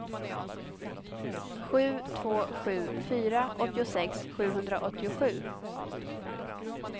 sju två sju fyra åttiosex sjuhundraåttiosju